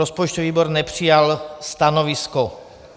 Rozpočtový výbor nepřijal stanovisko.